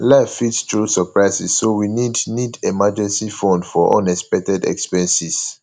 life fit throw surprises so we need need emergency fund for unexpected expenses